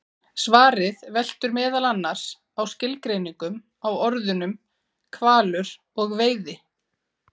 Svarið veltur meðal annars á skilgreiningum á orðunum hvalur og veiði.